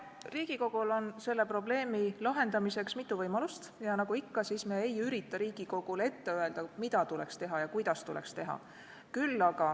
Riigikogul on selle probleemi lahendamiseks mitu võimalust ja nagu ikka, me ei ürita Riigikogule ette öelda, mida tuleks teha ja kuidas tuleks teha.